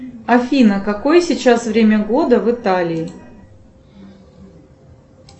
афина какое сейчас время года в италии